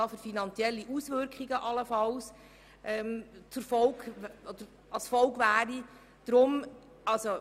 Wer den Antrag zu Artikel 41 Absatz 1 annehmen will, stimmt Ja, wer diesen ablehnt, stimmt Nein.